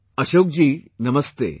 Ashok ji, Namaste